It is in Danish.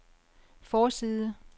forside